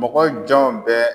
Mɔgɔ jɔnw bɛ